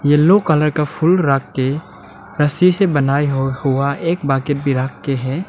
Yellow colour का फूल रख के रस्सी से बनाई हुआ एक बाकी भी रख के है।